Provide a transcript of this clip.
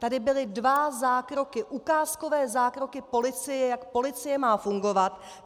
Tady byly dva zákroky, ukázkové zákroky policie, jak policie má fungovat.